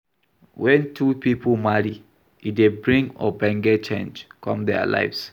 When two pipo marry, e dey bring ogbonge change come their lives